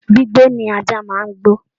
Gbígbó ni ajá máa ń gbó